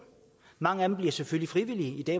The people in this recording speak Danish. mange af dem bliver selvfølgelig frivillige